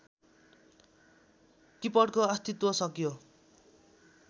किपटको अस्तित्व सकियो